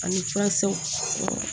Ani furakisɛw